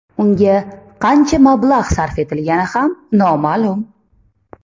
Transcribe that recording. Unga qancha mablag‘ sarf etilgani ham noma’lum.